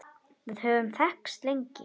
Við höfum þekkst lengi